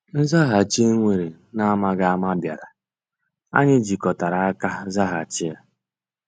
Nzàghàchì e weere n’amaghị ama bịàrà, anyị jikọtara aka zàghàchì ya.